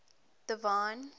divine